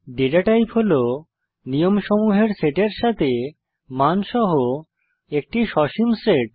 data type হল নিয়মসমূহের সেটের সাথে মানসহ একটি সসীম সেট